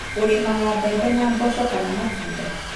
ũrĩmaga mbembe na mboco kana matunda